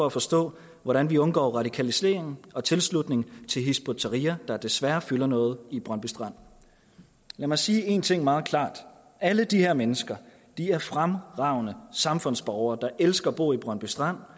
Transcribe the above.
at forstå hvordan vi undgår radikalisering og tilslutning til hizb ut tahrir der desværre fylder noget i brøndby strand lad mig sige én ting meget klart alle de her mennesker er fremragende samfundsborgere der elsker at bo i brøndby strand